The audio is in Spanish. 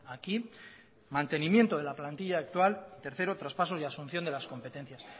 aquí mantenimiento de la plantilla actual tercero traspaso y asunción de las competencias